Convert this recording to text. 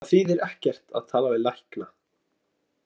Það þýðir ekkert að tala við lækna.